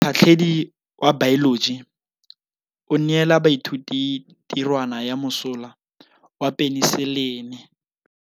Motlhatlhaledi wa baeloji o neela baithuti tirwana ya mosola wa peniselene.